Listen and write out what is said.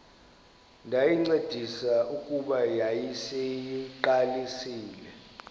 ndayincedisa kuba yayiseyiqalisile